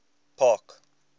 park